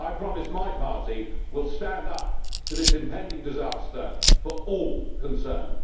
I promise my party will stand up to this impending disaster for all concerned.